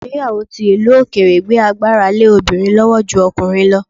Ìgbéyàwó ti ìlú òkèèrè gbé agbára lé obìnrin lọ́wọ́ ju ọkùnrin lọ